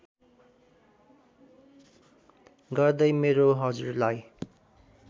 गर्दै मेरो हजुरलाई